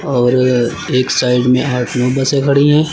और एक साइड में आठ नौ बसे खड़ी है।